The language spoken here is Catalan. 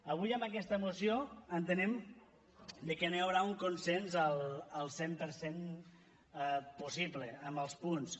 avui en aquesta moció entenem que no hi haurà un consens al cent per cent possible en els punts